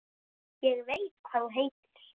Ég veit hvað þú heitir.